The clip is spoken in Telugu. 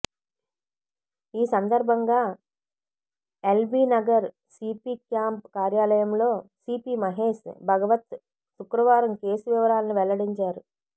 ఈ సందర్భంగా ఎల్బీ నగర్ సీపీ క్యాంప్ కార్యాలయంలో సీపీ మహేష్ భగవత్ శుక్రవారం కేసు వివరాలను వెల్లడించారు